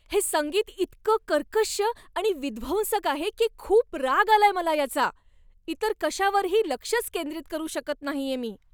हे संगीत इतकं कर्कश्श आणि विध्वंसक आहे की खूप राग आलाय मला याचा. इतर कशावरही लक्षच केंद्रित करू शकत नाहीये मी.